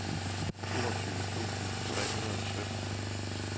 toogtyve tusind tre hundrede og sytten